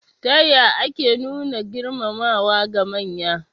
Ta ya ake nuna girmamawa ga manya?